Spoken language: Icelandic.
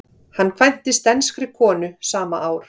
Hann kvæntist enskri konu sama ár.